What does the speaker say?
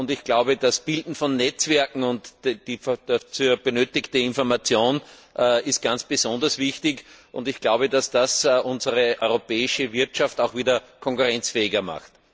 Ich glaube, die Bildung von Netzwerken und die dazu benötigten Informationen sind ganz besonders wichtig, und ich glaube, dass das unsere europäische Wirtschaft auch wieder konkurrenzfähiger macht.